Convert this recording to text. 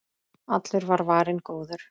Allur var varinn góður.